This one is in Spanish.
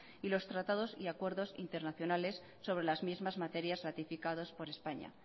y los tratados y acuerdos internacionales sobre las mismas materias ratificados por españa